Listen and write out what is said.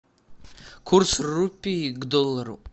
курс рупий к доллару